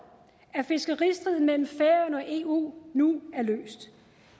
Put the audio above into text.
at fiskeristriden mellem færøerne og eu nu er løst